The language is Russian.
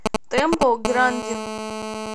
тэмпл грандин